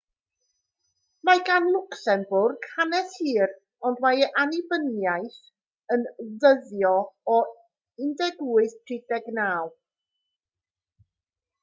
mae gan lwcsembwrg hanes hir ond mae ei annibyniaeth yn dyddio o 1839